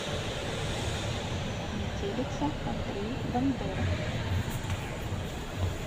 метелица андрей бандера